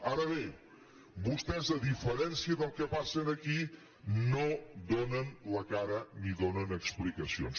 ara bé vostès a diferència del que passa aquí no do·nen la cara ni donen explicacions